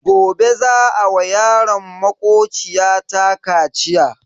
Gobe za a wa yaron makociya ta kaciya.